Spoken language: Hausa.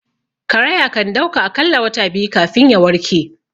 Karaya kandauka akalla wata biyu kafin ya warke